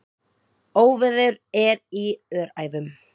Óveður er í Öræfum.